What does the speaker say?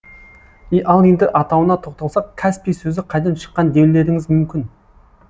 ал енді атауына тоқталсақ каспий сөзі қайдан шыққан деулеріңіз мүмкін